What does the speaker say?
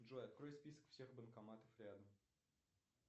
джой открой список всех банкоматов рядом